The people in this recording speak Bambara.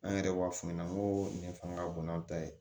An yɛrɛ b'a f'u ɲɛna n ko nin ye fanga ka bon n'a ta ye